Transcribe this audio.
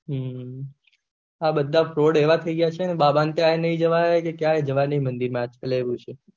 હમ આ બધા ફ્રોડ એવા થઇ ગયા છે ને બાબા ના ત્યાં એ નહી જવાય કે ક્યાય નહી જવાય મંદિર માં આજ કાલ એવું છે